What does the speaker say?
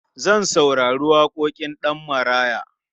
Zan saurari waƙoƙin Ɗanmaraya.